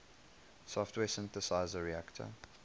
software synthesizer reaktor